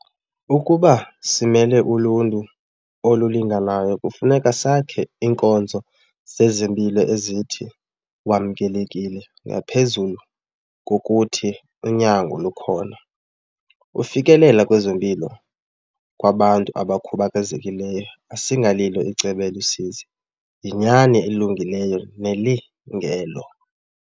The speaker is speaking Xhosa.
Ukuba simele uluntu olulinganayo kufuneka sakhe iinkonzo zezempilo ezithi wamkelekile ngaphezulu ngokuthi unyango lukhona. Ufikelela kwezempilo kwabantu abakhubazekileyo asingalilo icebo elusizi, yinyani elungileyo nelungelo.